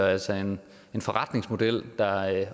altså en forretningsmodel der